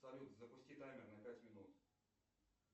салют запусти таймер на пять минут